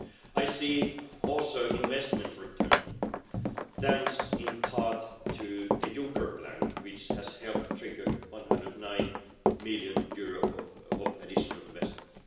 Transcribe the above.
I see also investment returning thanks, in part, to the Juncker Plan, which has helped trigger EUR 109 million of additional investment.